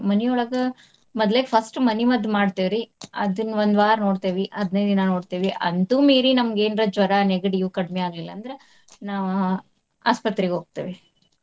ಮನಿಯೊಳಗ ಮದ್ಲೆಕ್ first ಮನಿಮದ್ದ್ ಮಾಡ್ತೇವ್ರಿ. ಅದನ್ನ ಒಂದ್ ವಾರ ನೋಡ್ತೇವಿ ಹದ್ನನೈದ್ ದಿನಾ ನೋಡ್ತೇವಿ. ಅಂತು ಮೀರಿ ನಮ್ಗ್ ಏನ್ರ ಜ್ವರಾ ನೆಗಡಿ ಇವು ಕಡಿಮೆ ಆಗ್ಲಿಲ್ಲಾ ಅಂದ್ರ ನಾ~ ಆಸ್ಪತ್ರೆಗ್ ಹೋಗ್ತೇವಿ.